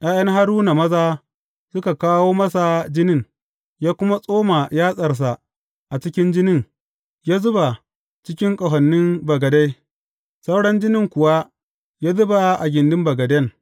’Ya’yan Haruna maza suka kawo masa jinin, ya kuma tsoma yatsarsa a cikin jinin ya zuba cikin ƙahonin bagade; sauran jinin kuwa ya zuba a gindin bagaden.